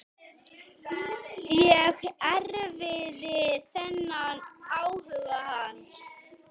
Ég erfði þennan áhuga hans.